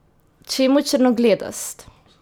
Čemu črnogledost?